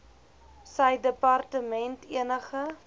sy departement enige